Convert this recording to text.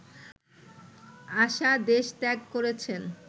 আশা দেশত্যাগ করেছেন